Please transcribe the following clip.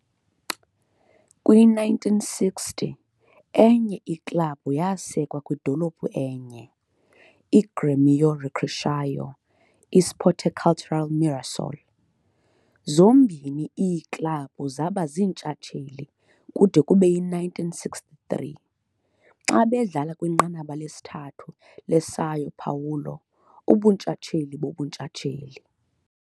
Kwi-1960, enye iklabhu yasekwa kwidolophu enye, iGrêmio Recreação Esporte Cultura Mirassol. Zombini iiklabhu zaba ziintshatsheli kude kube yi-1963, xa bedlala kwiNqanaba lesithathu leSão Paulo ubuNtshatsheli boBuntshatsheli.